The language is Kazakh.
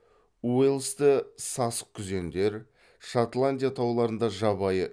уэльсте сасықкүзендер шотландия тауларында жабайы